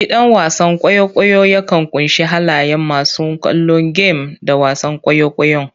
Gidan wasan kwaikwayo yakan ƙunshi halayen masu kallo game da wasan kwaikwayon.